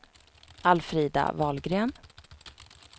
Alfrida Wahlgren